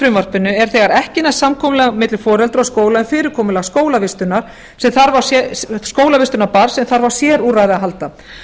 frumvarpinu er þegar ekki næst samkomulag milli foreldra og skóla um fyrirkomulag skólavistunar barns sem þarf á sérúrræði að halda